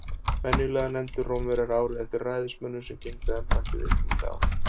Venjulega nefndu Rómverjar árið eftir ræðismönnunum sem gegndu embætti viðkomandi ár.